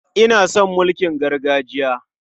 Ina son mulkin gargajiya.